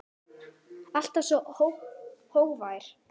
Alltaf svo hógvær.